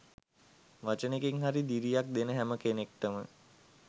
වචනෙකින් හරි දිරියක් දෙන හැම කෙනෙක්ටම